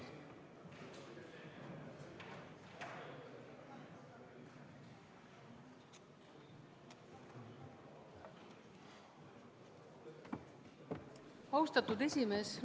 Austatud esimees!